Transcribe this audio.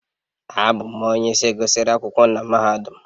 Abụ m onye gụsịrị akwụkwọ na mahadum